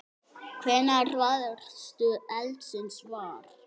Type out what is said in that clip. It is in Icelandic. Hvenær varðstu eldsins var?